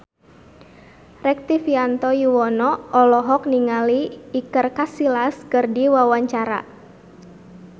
Rektivianto Yoewono olohok ningali Iker Casillas keur diwawancara